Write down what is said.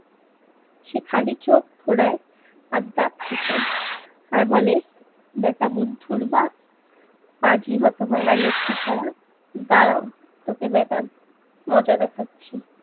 সে খালি চোখ খোঁড়ায় আর দাঁত খিঁচায় আর বলে ব্যাটা বুদ্ধর বাপ পাজি হতভাগা লক্ষীছারা দাঁড়াও তোকে ব্যাটা মজা দেখাচ্ছি।